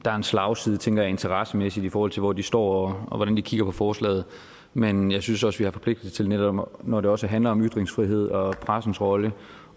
slagside tænker jeg interessemæssigt i forhold til hvor de står og hvordan de kigger på forslaget men jeg synes også vi er forpligtet til netop når det også handler om ytringsfrihed og pressens rolle